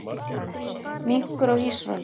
Minkur á ísrönd.